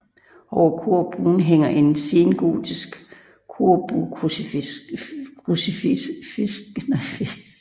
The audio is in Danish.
Over korbuen hænger et sengotisk korbuekrucifiks